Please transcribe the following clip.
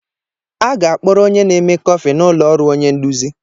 A ga-akpọrọ onye na-eme kọfị n'ụlọ ọrụ onye nduzi.